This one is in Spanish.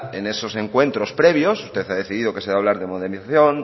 en esos encuentros previos usted ha decidido que se va a hablar de modelización